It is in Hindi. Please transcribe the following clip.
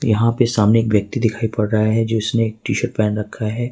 यहां पर सामने एक व्यक्ति दिखाई पड़ रहा है जो जीसने टी शर्ट पहन रखा है।